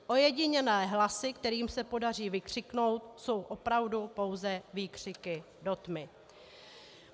Ojedinělé hlasy, kterým se podaří vykřiknout, jsou opravdu pouze výkřiky do tmy.